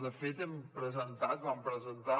de fet hem presentat vam presentar